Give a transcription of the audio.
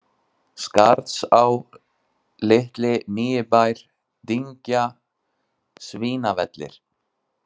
Skarðsá, Litli-Nýibær, Dyngja, Svínavellir